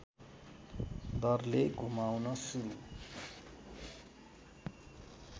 दरले घुमाउन सुरु